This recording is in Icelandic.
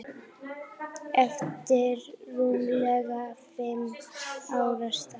eftir rúmlega fimm ára starf.